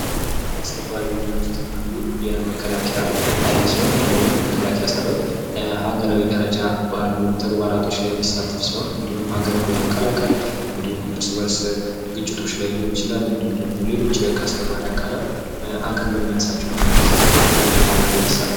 መሠረታዊ አገልግሎቶች የዜጎች መሠረታዊ ፍላጎቶችን ለማሟላትና ለተሟላ ሕይወት አስፈላጊ የሆኑ እንደ ጤና፣ ትምህርትና የውሃ አቅርቦት ያሉ አገልግሎቶች ናቸው።